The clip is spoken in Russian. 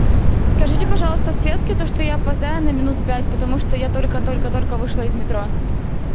скажите пожалуйста светке то что я опоздаю на минут пять потому что я только только только вышла из метро